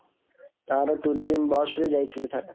ତାର tourism bus ରେ ଯାଇଥିଲି ଥରେ।